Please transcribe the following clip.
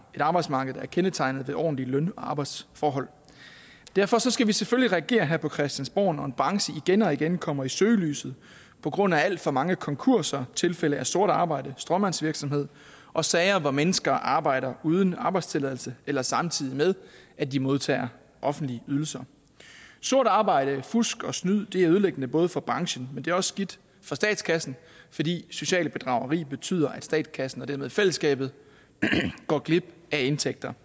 et arbejdsmarked der er kendetegnet ved ordentlige løn og arbejdsforhold derfor skal vi selvfølgelig reagere her på christiansborg når en branche igen og igen kommer i søgelyset på grund af alt for mange konkurser tilfælde af sort arbejde stråmandsvirksomhed og sager hvor mennesker arbejder uden arbejdstilladelse eller samtidig med at de modtager offentlige ydelser sort arbejde fusk og snyd er ødelæggende både for branchen men det er også skidt for statskassen fordi socialt bedrageri betyder at statskassen og dermed fællesskabet går glip af indtægter